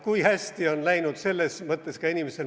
Kui hästi on läinud selles mõttes ka inimestel.